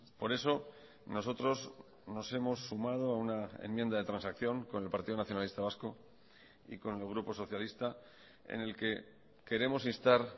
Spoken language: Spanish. por eso nosotros nos hemos sumado a una enmienda de transacción con el partido nacionalista vasco y con el grupo socialista en el que queremos instar